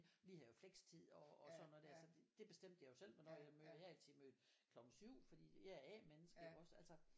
Vi havde jo flextid og og sådan noget der så det bestemte jeg jo selv hvornår jeg mødte jeg har altid mødt klokken 7 fordi jeg er A menneske iggås altså